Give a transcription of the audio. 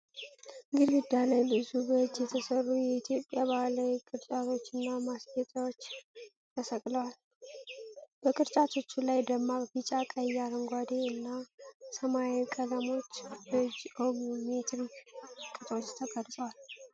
ግድግዳ ላይ ብዙ በእጅ የተሰሩ የኢትዮጵያ ባህላዊ ቅርጫቶችና ማስጌጫዎች ተሰቅለዋል። በቅርጫቶቹ ላይ ደማቅ ቢጫ፣ ቀይ፣ አረንጓዴ እና ሰማያዊ ቀለሞች በጂኦሜትሪክ ቅጦች ተቀርጸዋል።